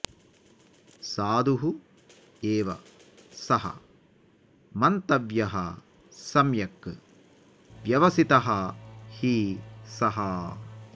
साधुः एव सः मन्तव्यः सम्यक् व्यवसितः हि सः